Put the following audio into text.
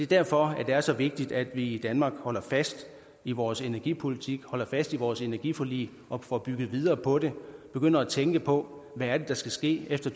derfor det er så vigtigt at vi i danmark holder fast i vores energipolitik holder fast i vores energiforlig og får bygget videre på det begynder at tænke på hvad det er der skal ske efter